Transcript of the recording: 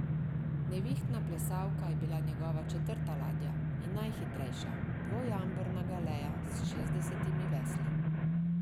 Nevihtna plesalka je bila njegova četrta ladja in najhitrejša, dvojamborna galeja s šestdesetimi vesli.